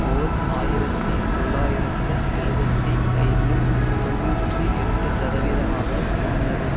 ஓர் ஆயிரத்தி தொள்ளாயிரத்து எழுபத்தி ஐந்தில் தொன்னூற்றி எட்டு சதவீதமாக இருந்தது